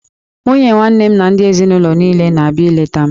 Nwunye nwanne m na ndị ezinaụlọ niile ga-abịa ileta m